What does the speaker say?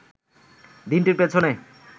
দিনটির পেছনে